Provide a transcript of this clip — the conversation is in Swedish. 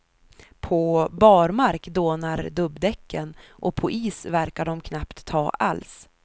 På barmark dånar dubbdäcken och på is verkar de knappt ta alls.